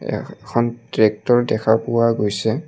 এখন ট্ৰেক্টৰ দেখা পোৱা গৈছে।